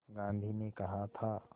गांधी ने कहा था